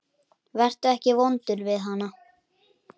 Vertu ekki vondur við hana.